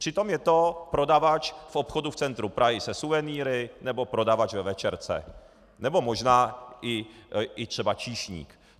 Přitom je to prodavač v obchodu v centru Prahy se suvenýry nebo prodavač ve večerce nebo možná i třeba číšník.